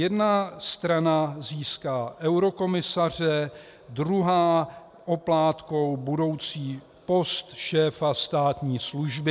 Jedna strana získá eurokomisaře, druhá oplátkou budoucí post šéfa státní služby."